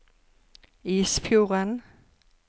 Isfjorden